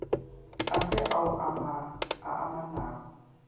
a fe ao a amanago